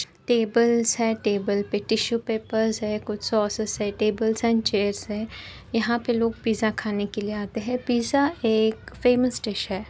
Tables है। Table पे tissue papers है। कुछ सॅसेस है। टेबल्स एंड चेयर्स है। यहाॅं पे लोग पिज्जा खाने के लिए आते हैं। पिज्जा एक फेमस डिश है।